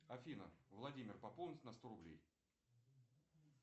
афина владимир пополнить на сто рублей